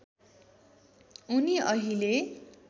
उनी अहिले